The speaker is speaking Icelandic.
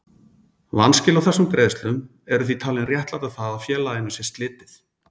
Vanskil á þessum greiðslum eru því talinn réttlæta það að félaginu sé slitið.